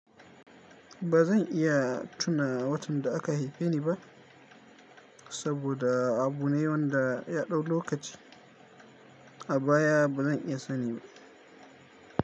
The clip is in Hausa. Ba zan iya tuna watan da aka haife ni ba saboda abu ne wanda ya dau lokaci a baya ba zan iya sani ba.